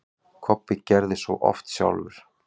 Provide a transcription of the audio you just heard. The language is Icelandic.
Kobbi gerði svo oft sjálfur.